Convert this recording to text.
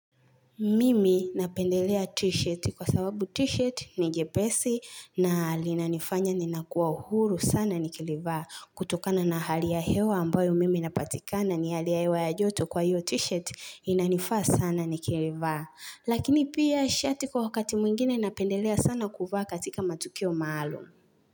Mimi napendelea t-shirt kwa sababu t-shirt ni jepesi na linanifanya ninakuwa uhuru sana nikilivaa. Kutokana na hali ya hewa ambayo mimi napatikana ni hali ya hewa ya joto kwa hiyo t-shirt inanifaa sana nikilivaa. Lakini pia shati kwa wakati mwingine napendelea sana kuvaa katika matukio maalum.